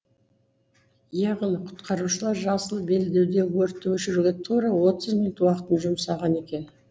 яғни құтқарушылар жасыл белдеудегі өртті өшіруге тура отыз минут уақытын жұмсаған екен